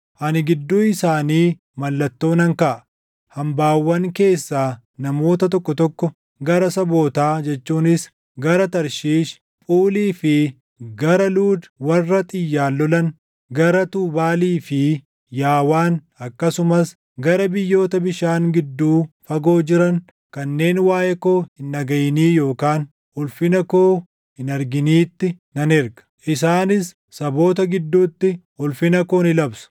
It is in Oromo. “Ani gidduu isaanii mallattoo nan kaaʼa; hambaawwan keessaa namoota tokko tokko gara sabootaa jechuunis gara Tarshiish, Phuulii fi gara Luud warra xiyyaan lolan, gara Tuubaalii fi Yaawaan akkasumas gara biyyoota bishaan gidduu fagoo jiran kanneen waaʼee koo hin dhagaʼinii yookaan ulfina koo hin arginiitti nan erga. Isaanis saboota gidduutti ulfina koo ni labsu.